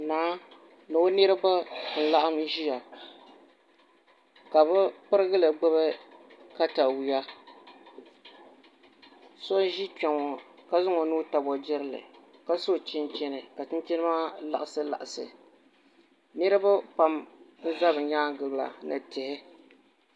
Naa ni o niraba n laɣam ʒiya ka bi pirigili gbubi katawiya so ʒi kpɛ ŋo ka zaŋ o nuu tabi o jirili ka so chinchini ka chinchini maa liɣisi liɣisi niraba pam n ʒɛ bi nyaangi la ni tihi